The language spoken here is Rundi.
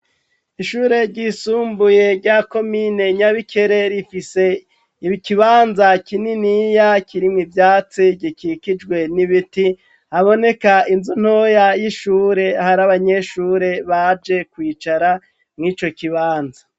Ishure ryisumbuye rya komine nyabikere rifise ibi ikibanza kininiya kirimwe ivyatsi gikikijwe n'ibiti aboneka inzu ntoya y'ishure hari abanyeshure baje kwicara mw'ico kibanza.